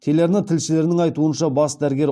телерана тілшілерінің айтуынша бас дәрігер